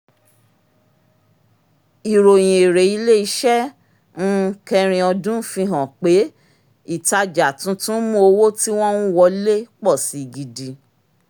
ìròyìn èrè ilé-iṣẹ́ um kẹrin ọdún fi hàn pé ìtajà tuntun mú owó tí wọ́n ń wọlé pọ̀ si gidi